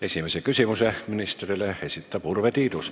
Esimese küsimuse ministrile esitab Urve Tiidus.